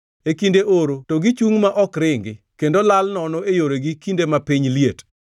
e kinde oro to gichungʼ ma ok ringi, kendo lal nono e yoregi kinde ma piny liet.